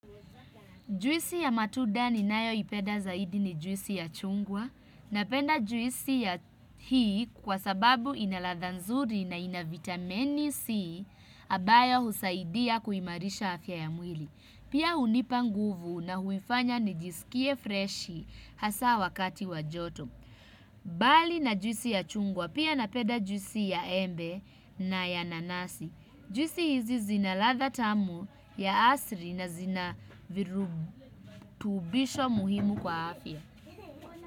Juisi ya matuda ninayoipeda zaidi ni juisi ya chungwa. Napenda juisi ya hii kwa sababu ina ladha nzuri na ina vitameni C abayo husaidia kuimarisha afya ya mwili. Pia hunipa nguvu na huifanya nijisikie freshi hasa wakati wa joto. Bali na juisi ya chungwa pia napenda juisi ya embe na ya nanasi. Juisi hizi zina ladha tamu ya asri na zina virutubisho muhimu kwa afya.